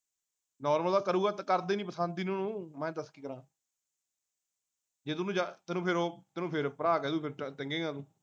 normal ਤਾਂ ਕਰੂੰਗਾ ਕਰਦੇ ਨੀ ਪਸੰਦ ਨੀ ਉਹਨੂੰ ਮੈਂ ਕੀ ਦੱਸ ਕਰਾ। ਜੇ ਤੂੰ ਮਜਾਕ ਤੈਨੂੰ ਫਿਰ ਉਹ ਤੈਨੂੰ ਫਿਰ ਭਰਾ ਕਹਿਦੂੰ ਫੇਰ ਤਕੇਗਾ ਤੂੰ